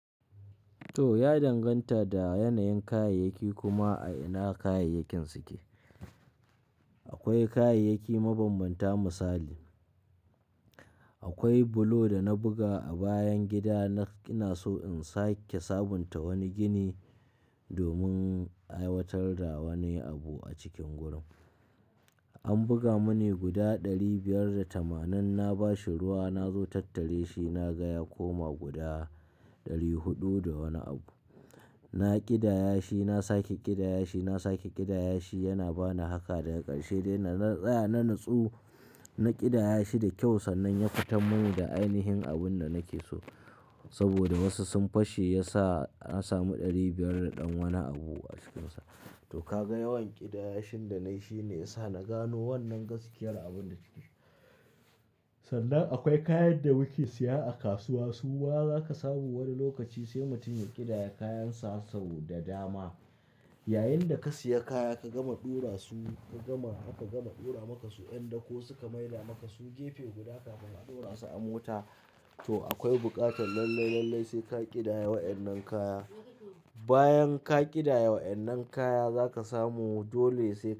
To, ya danganta da yanayin kayayyaki kuma a ina kayayakin suke. Akwai kayayyaki mabambanta misali, akwai bulo da na buga a bayan gidana. Ina so in sake sabunta wani gini domin aiwatar da wani abu a cikin gurin. An buga mani guda ɗari biyar da tamanin. Na ba shi ruwa, na zo tattare shi, na ga ya koma guda ɗari huɗu da wani abu. Na ƙidaya shi, na sake ƙidaya shi, na sake ƙidaya shi. Yana ba ni haka daga ƙarshe dai dana tsaya na natsu. Na ƙidaya shi da kyau sannan ya fita mini da ainihin abun da nake so. Saboda wasu sun fashe, ya sa na samu ɗari biyar da ɗan wani abu a cikinsa. To ka ga yawan ƙidayashin da nayi shine ya sa na gano wannan gaskiyar abun da ake ciki. Sannan akwai kayan da muke siya a kasuwa. A kasuwa zaka samu wani lokaci sai mutum ya ƙidaya kayansa sau da dama. Yayinda ka siya kaya ka gama ɗora su, ka gama aka gama ɗora maka su, yan dako suka maida maka su gefe guda kuka ɗora su a mota. To akwai buƙatar lallai, lallai sai ka ƙidaya wa'yan nan kaya. Bayan ka ƙidaya wa'yan nan kaya za ka samu dole sai ka.